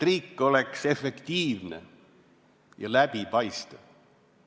Riik peaks olema efektiivne ja läbipaistev.